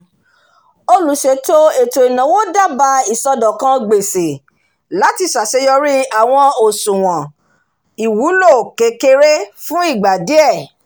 olùṣètò ètò ináwó dábà iṣọ̀dọ̀kan gbèsè láti ṣàṣeyọrí àwọn ọ̀ṣùwọn ìwúlò kékeré fún ìgbà díẹ̀